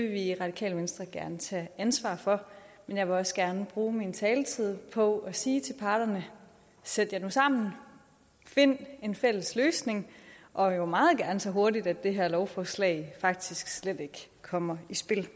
vi i radikale venstre gerne tage ansvar for men jeg vil også gerne bruge min taletid på at sige til parterne sæt jer nu sammen find en fælles løsning og jo meget gerne så hurtigt at det her lovforslag faktisk slet ikke kommer i spil